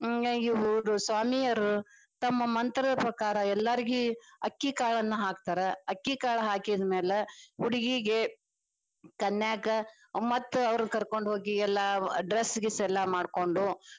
ಇವ್ರು ಸ್ವಾಮಿಯರು ತಮ್ಮ ಮಂತ್ರದ ಪ್ರಕಾರ ಎಲ್ಲಾರಿಗಿ ಅಕ್ಕಿಕಾಳನ್ನ ಹಾಕ್ತಾರ ಅಕ್ಕಿಕಾಳ ಹಾಕಿದ್ಮ್ಯಾಲ, ಹುಡುಗಿಗೆ ಕನ್ಯಾಕ ಮತ್ತ ಅವ್ರ ಕರ್ಕೊಂಡ ಹೋಗಿ ಎಲ್ಲಾ dress ಗೀಸ್ಸ ಎಲ್ಲಾ ಮಾಡ್ಕೊಂಡು.